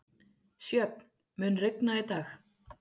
Sjöfn, mun rigna í dag?